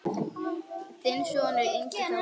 Þinn sonur, Ingi Þór.